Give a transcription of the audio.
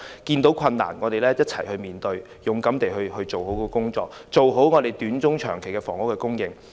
遇到困難的話，我們一起面對，勇敢地做好工作，做好本港短中長期的房屋供應。